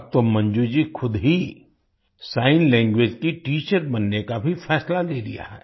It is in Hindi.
अब तो मंजू जी खुद ही सिग्न लैंग्वेज की टीचर बनने का भी फैसला ले लिया है